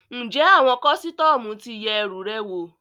Ǹjẹ́ àwọn kọ́sítọ́mù ti yẹ ẹrù rẹ wò?